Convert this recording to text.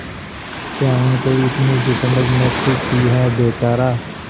क्या उनको इतनी भी समझ न थी कि यह बेचारा